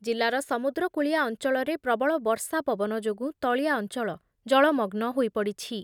ଜିଲ୍ଲାର ସମୁଦ୍ରକୂଳିଆ ଅଞ୍ଚଳରେ ପ୍ରବଳ ବର୍ଷା ପବନ ଯୋଗୁଁ ତଳିଆ ଅଞ୍ଚଳ ଜଳମଗ୍ନ ହୋଇପଡ଼ିଛି।